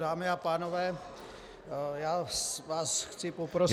Dámy a pánové, já vás chci poprosit -